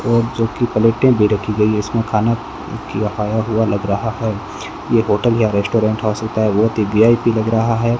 और जो की पलेटें भी रखी गई है इसमें खाना खाया हुआ लग रहा है ये होटल या रेस्टोरेंट हो सकता है बहोत ही वी_आई_पी लग रहा है।